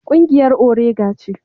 Kungiyar orega ce.